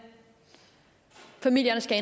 familierne skal